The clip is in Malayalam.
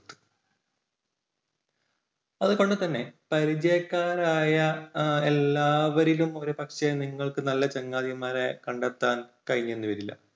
അതുകൊണ്ടുതന്നെ പരിചയക്കാരായ എല്ലാവരിലും ഒരു പക്ഷേ നിങ്ങൾക്ക് നല്ല ചങ്ങാതിമാരെ കണ്ടെത്താൻ കഴിഞ്ഞെന്ന് വരില്ല.